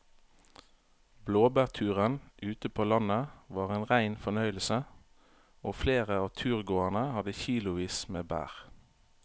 Blåbærturen ute på landet var en rein fornøyelse og flere av turgåerene hadde kilosvis med bær.